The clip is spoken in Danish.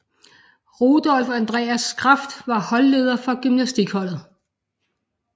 Rudolf Andreas Kraft var holdleder for gymnastikholdet